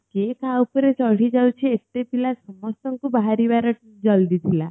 କିଏ କା ଉପରେ ଚଢି ଯାଉଛି ଏତେ ପିଲା ସମସ୍ତଙ୍କୁ ବାହାରିବା ର ଜଲଦୀ ଥିଲା